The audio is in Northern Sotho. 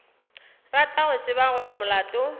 rata go tseba gore molato